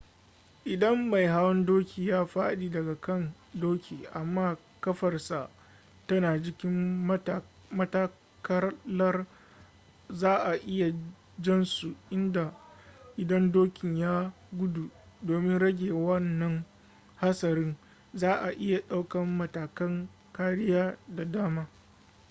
idan mai hawan doki ya faɗi daga kan doki amma ƙafarsa tana jikin matakalar za a iya jan su idan dokin ya gudu domin rage wanna hatsarin za a iya ɗaukan matakan kariya da dama